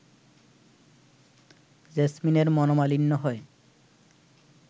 জেসমিনের মনোমালিন্য হয়